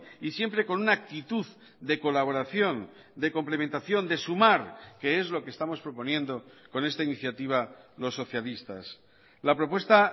y siempre con una actitud de colaboración de complementación de sumar que es lo que estamos proponiendo con esta iniciativa los socialistas la propuesta